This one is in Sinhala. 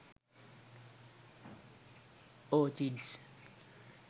orchids